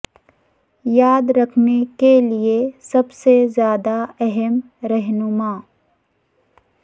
یاد رکھنے کے لئے سب سے زیادہ اہم رہنما